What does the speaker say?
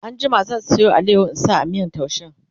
an jima zan Sayo alayaho in sa a miyan taushen